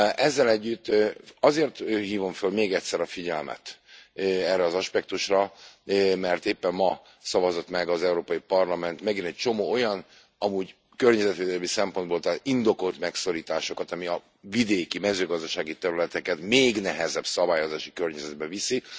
Ezzel együtt azért hívom föl még egyszer a figyelmet erre az aspektusra, mert éppen ma szavazott meg az Európai Parlament megint egy csomó olyan amúgy környezetvédelmi szempontból indokolt megszorítást, ami a vidéki, mezőgazdasági területeket még nehezebb szabályozási környezetbe viszi.